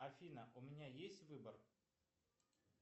афина у меня есть выбор